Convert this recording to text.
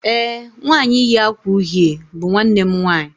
ee, nwanyi yi akwa uhie bu nwannem nwanyi